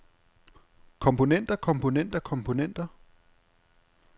komponenter komponenter komponenter